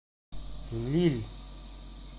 лилль